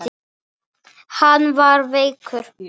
Hann var veikur.